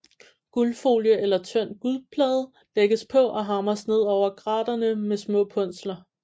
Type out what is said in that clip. Guldfolie eller tynd guldplade lægges på og hamres ned over graterne med små punsler